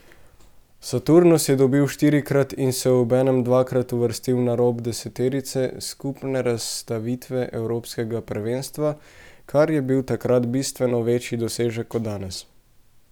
Saturnus je dobil štirikrat in se obenem dvakrat uvrstil na rob deseterice skupne razvrstitve evropskega prvenstva, kar je bil takrat bistveno večji dosežek kot danes.